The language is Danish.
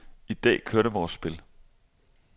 I dag kørte vores spil.